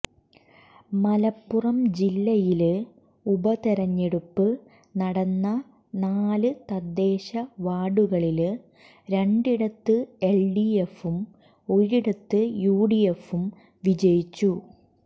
മലപ്പുറം ജില്ലയില് ഉപതെരഞ്ഞെടുപ്പ് നടന്ന നാല് തദ്ദേശ വാര്ഡുകളില് രണ്ടിടത്ത് എല്ഡിഎഫും ഒരിടത്ത് യു ഡിഎഫും വിജയിച്ചു